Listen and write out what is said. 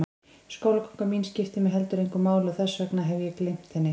Skólaganga mín skiptir mig heldur engu máli og þess vegna hef ég gleymt henni.